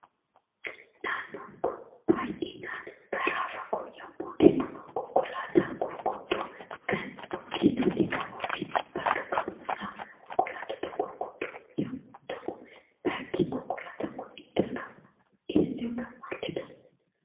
Naannoon kun baay'inaan karaa fagoo yemmuu deemnu konkolaataa gurguddoo kan of keessatti qabuu fi bakka ka'umsaa konkolaatota gurguddoo yemmuu ta'u bakki konkolaataan kun itti argamu eessa yookaan maal jedhama?